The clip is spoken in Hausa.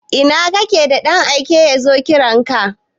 Ina kake da ɗan aike yazo kiranka?